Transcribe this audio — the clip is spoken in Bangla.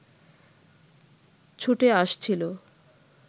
ছুটে আসছিল